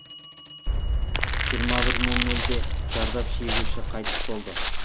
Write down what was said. жиырма бір нөл нөлде зардап шегуші қайтыс болды